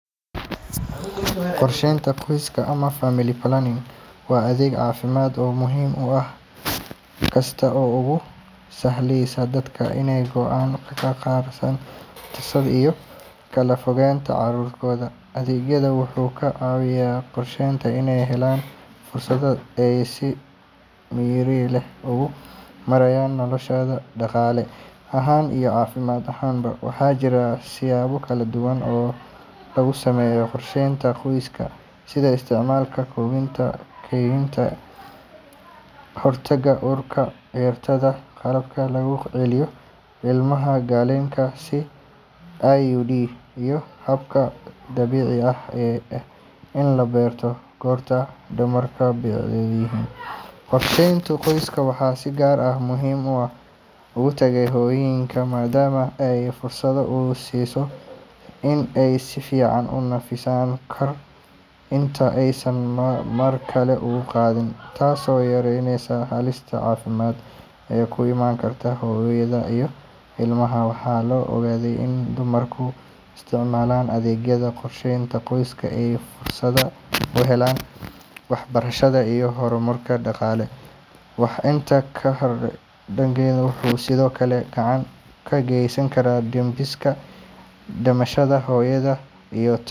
Qorsheynta qoyska ama family planning waa adeeg caafimaad oo muhiim ah kaas oo u sahlaya dadka inay go’aan ka gaaraan tirada iyo kala fogeynta carruurtooda. Adeeggan wuxuu ka caawiyaa qoysaska inay helaan fursad ay si miyir leh ugu maareeyaan noloshooda, dhaqaale ahaan iyo caafimaad ahaanba. Waxaa jira siyaabo kala duwan oo lagu sameeyo qorsheynta qoyska, sida isticmaalka kondhomka, kaniiniyada ka hortagga uurka, cirbadaha, qalabka lagu geliyo ilma-galeenka sida IUD, iyo habka dabiiciga ah ee ah in la barto goorta dumarku bacrinta yihiin. Qorsheynta qoyska waxay si gaar ah muhiim ugu tahay hooyooyinka, maadaama ay fursad u siiso in ay si fiican u nafisaan kahor inta aysan mar kale uur qaadin, taasoo yareynaysa halista caafimaad ee ku imaan karta hooyada iyo ilmaha. Waxaa la ogaaday in dumarka isticmaala adeegyada qorsheynta qoyska ay fursad u helaan waxbarasho iyo horumar dhaqaale. Intaa waxaa dheer, adeeggan wuxuu sidoo kale gacan ka geysanayaa dhimista dhimashada hooyada iyo.